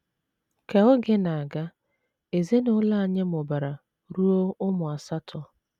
Ka oge na - aga, ezinụlọ anyị mụbara ruo ụmụ asatọ.